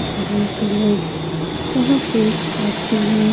घरों के लोग यहाँ पे आते हैं।